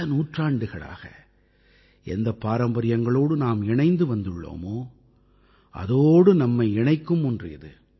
பல நூற்றாண்டுகளாக எந்தப் பாரம்பரியங்களோடு நாம் இணைந்து வந்துள்ளோமோ அதோடு நம்மை இணைக்கும் ஒன்று இது